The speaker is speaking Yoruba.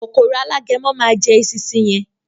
“Kòkòrò Alágẹmọ” má a jẹ “esinsin” yẹn.